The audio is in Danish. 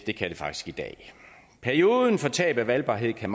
det kan det faktisk i dag perioden for tab af valgbarhed kan